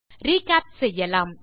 recap செய்யலாம்